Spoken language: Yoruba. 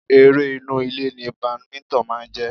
Eré inú ilé ni Badminton máa jẹ́.